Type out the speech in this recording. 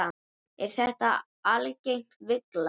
Er þetta algeng villa.